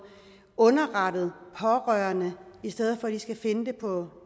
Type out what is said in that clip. underrettet pårørende i stedet for at de skal finde det på